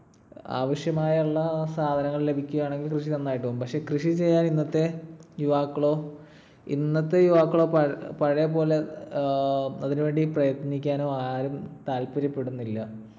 ആവശ്യമായുള്ള സാധനങ്ങൾ ലഭിക്കുകയാണെങ്കിൽ കൃഷി നന്നായിട്ട് പോകും. പക്ഷെ കൃഷി ചെയ്യാൻ ഇന്നത്തെ യുവാക്കളോ ~ ഇന്നത്തെ യുവാക്കളോ പഴയപോലെ ഏർ അതിനുവേണ്ടി പ്രയത്നിക്കാനോ ആരും താത്പര്യപെടുന്നില്ല.